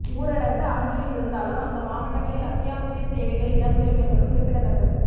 ஊரடங்கு அமுலில் இருந்தாலும் அந்த மாவட்டங்களில் அத்தியாவசிய சேவைகள் இடம்பெறும் என்பது குறிப்பிடத்தக்கது